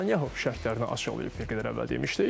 Netanyahu şərtlərini açıqlayıb, bir qədər əvvəl demişdik.